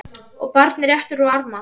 og barnið réttir út arma